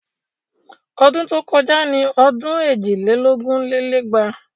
Ọdún tó kọjá ni ọdún èjì lé lógún lé lẹ́gbàá